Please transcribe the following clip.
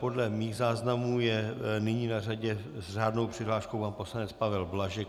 Podle mých záznamů je nyní na řadě s řádnou přihláškou pan poslanec Pavel Blažek.